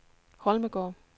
Holmegaard